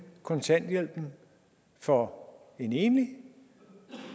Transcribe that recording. kontanthjælpen for en enlig